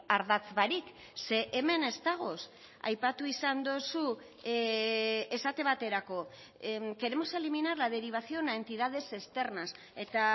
ardatz barik ze hemen ez dagoz aipatu izan dozu esate baterako queremos eliminar la derivación a entidades externas eta